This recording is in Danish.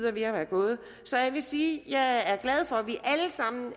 er ved at være gået så jeg vil sige at jeg er glad for at vi alle sammen